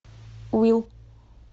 уилл